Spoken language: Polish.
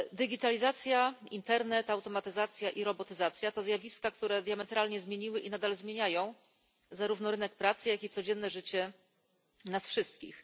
Cyfryzacja, internet, automatyzacja i robotyzacja to zjawiska, które diametralnie zmieniły i nadal zmieniają zarówno rynek pracy, jak i codzienne życie nas wszystkich.